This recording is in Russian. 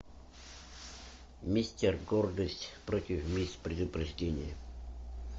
мистер гордость против мисс предубеждение